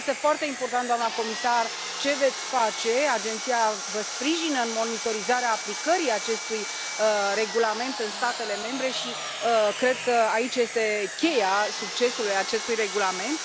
Este foarte important, doamna comisar, ce veți face, agenția vă sprijină în monitorizarea aplicării acestui regulament în statele membre și cred că aici este cheia succesului acestui regulament.